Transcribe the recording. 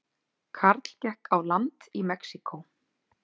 Karl gekk á land í Mexíkó